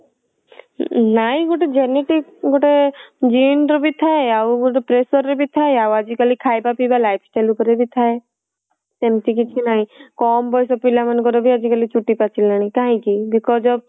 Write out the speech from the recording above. ନାଇଁ ଗୋଟେ genetic ଗୋଟେ gene ର ବି ଥାଏ ଆଉ ଗୋଟେ pressure ର ବି ଥାଏ ଆଉ ଆଜି କାଲି ଖାଇବା ପିଇବା life style ଉପରେ ବି ଥାଏ। ସେମତି କିଛି ନାଇଁ କମ ବୟସ ପିଲା ମାନଙ୍କ ର ବି ଆଜି କାଲି ଚୁଟି ପାଚିଲାଣି କାହିଁକି because of